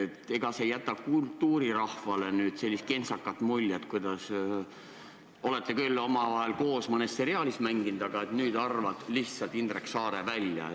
Ega see äkki ei jäta kultuurirahvale sellist kentsakat muljet, et te olete küll omavahel koos mõnes seriaalis mänginud, aga nüüd arvad Indrek Saare lihtsalt välja?